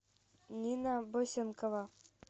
нина босенкова